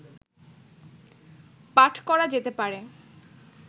পাঠ করা যেতে পারে